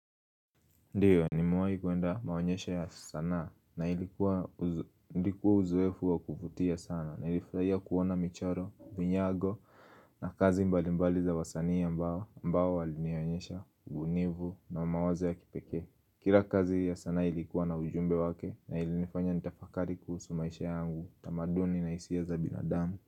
Ndiyo nimewahi kwenda maonyesha ya sanaa na ilikuwa, ilikuwa uzoefu wa kuvutia sana nilifurahia kuona michoro, vinyago na kazi mbali mbali za wasanii ambao, ambao walinionyesha ubunivu na mawazo ya kipekee. Kila kazi ya sanaa ilikuwa na ujumbe wake na ilinifanya nitafakari kuhusu maisha yangu, tamaduni na hisia za binadamu.